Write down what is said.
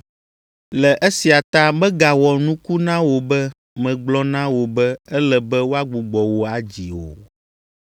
Le esia ta megawɔ nuku na wò be megblɔ na wò be ele be woagbugbɔ wò adzi o.